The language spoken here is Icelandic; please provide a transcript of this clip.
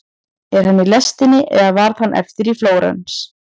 Er hann í lestinni eða varð hann eftir í Flórens?